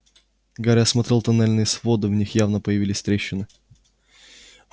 гарри осмотрел тоннельные своды в них явно появились трещины